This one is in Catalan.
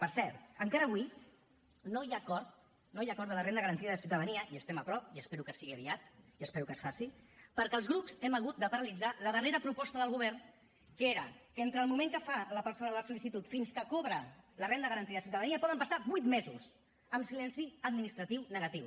per cert encara avui no hi ha acord de la renda garantida de ciutadania hi estem a prop i espero que sigui aviat i espero que es faci perquè els grups hem hagut de paralitzar la darrera proposta del govern que era que entre el moment que fa la persona la sol·licitud fins que cobra la renda garantida de ciutadania poden passar vuit mesos amb silenci administratiu negatiu